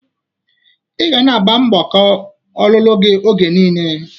I ga na-agba mgbaka ọlụlụ gi oge niile!